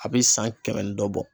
A bɛ san kɛmɛ ni dɔ bɔ